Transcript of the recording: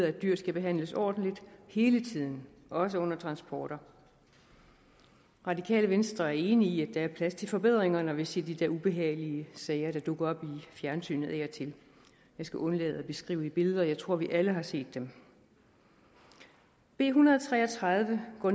at dyr skal behandles ordentligt hele tiden også under transporter radikale venstre er enige i at der er plads til forbedringer når vi ser de der ubehagelige sager der dukker op i fjernsynet af og til jeg skal undlade at beskrive det i billeder jeg tror vi alle har set dem b en hundrede og tre og tredive går